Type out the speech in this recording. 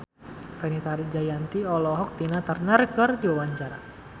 Fenita Jayanti olohok ningali Tina Turner keur diwawancara